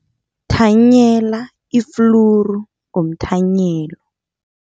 Thanyela ifluru ngomthanyelo.